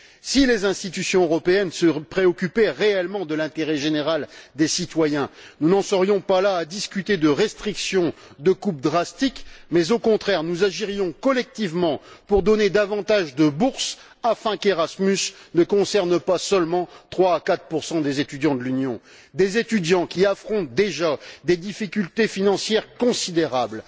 Si les institutions européennes se préoccupaient réellement de l'intérêt général des citoyens, nous n'en serions pas là à discuter de restrictions, de coupes drastiques, mais au contraire, nous agirions collectivement pour donner davantage de bourses afin qu'Erasmus ne concerne pas seulement 3 à 4 des étudiants de l'Union, des étudiants qui affrontent déjà des difficultés financières considérables.